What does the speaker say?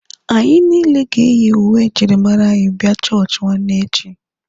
Anyị niile ga-eyi uwe njirimara anyị abịa chọọchị nwanne echi.